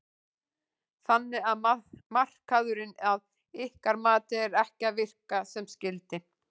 Þannig að markaðurinn að ykkar mati er ekki að virka sem skyldi?